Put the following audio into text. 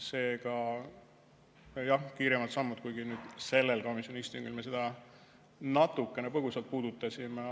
Seega, jah, kiiremad sammud, kuigi sellel komisjoni istungil me seda natukene põgusalt puudutasime.